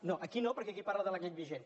no aquí no perquè aquí parla de la llei vigent